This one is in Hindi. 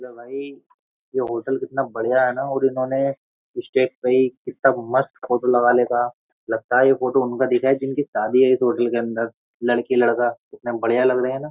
ये होटल कितना बढ़िया है ना और इन्होंने इस स्टेज पे ही कितना मस्त फोटो लगा लेका लगता है ये फोटो उनका दिखा है जिनकी शादी है इस होटल के अंदर लड़की लड़का कितना बढ़िया लग रहे है न।